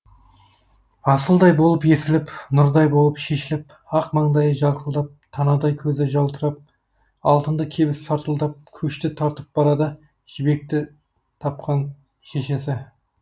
асылдай болып есіліп нұрдай болып шешіліп ақ маңдайы жарқылдап танадай көзі жалтырап алтынды кебіс сартылдап көшті тартып барады жібекті тапқан шешесі